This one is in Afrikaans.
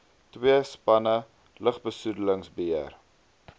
twee spanne lugbesoedelingsbeheer